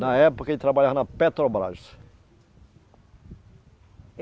Na época ele trabalhava na Petrobras.